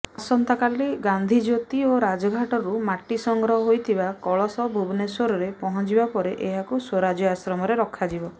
ଆସନ୍ତାକାଲି ଗାନ୍ଧୀଜ୍ୟୋତି ଓ ରାଜଘାଟରୁ ମାଟି ସଂଗ୍ରହ ହୋଇଥିବା କଳସ ଭୁବନେଶ୍ବରରେ ପହଞ୍ଚିବାପରେ ଏହାକୁ ସ୍ବରାଜ୍ୟ ଆଶ୍ରମରେ ରଖାଯିବ